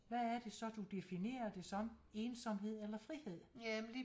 Hvad er det så du definerer det som ensomhed eller frihed